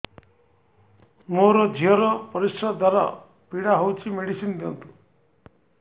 ମୋ ଝିଅ ର ପରିସ୍ରା ଦ୍ଵାର ପୀଡା ହଉଚି ମେଡିସିନ ଦିଅନ୍ତୁ